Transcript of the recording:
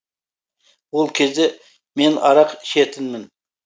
ол кезде мен арақ ішетінмін